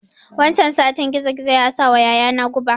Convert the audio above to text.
Wancan satin gizo gizo ya sawa yaya na guɓa